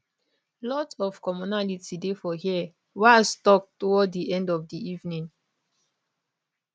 lot of commonality dey for here walz tok toward di end of di evening